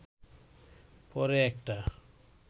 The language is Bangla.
পরে একটা